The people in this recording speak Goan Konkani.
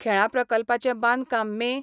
खेळां प्रकल्पाचे बांदकाम मे.